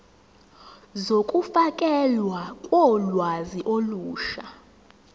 zokufakelwa kolwazi olusha